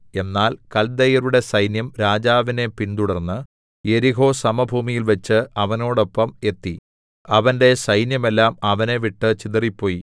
എന്നാൽ കൽദയരുടെ സൈന്യം രാജാവിനെ പിന്തുടർന്ന് യെരിഹോ സമഭൂമിയിൽവെച്ച് അവനോടൊപ്പം എത്തി അവന്റെ സൈന്യമെല്ലാം അവനെ വിട്ട് ചിതറിപ്പോയി